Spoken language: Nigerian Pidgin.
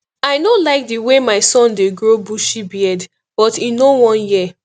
i no like the way my son dey grow bushy beard but he no wan hear